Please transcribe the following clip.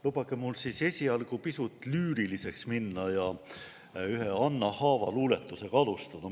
Lubage mul esialgu pisut lüüriliseks minna ja ühe Anna Haava luuletusega alustada.